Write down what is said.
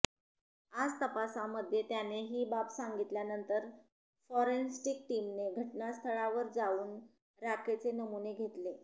आज तपासामध्ये त्याने ही बाब सांगितल्यानंतर फॉरेन्सिक टीमने घटनास्थळावर जाऊन राखेचे नमुने घेतले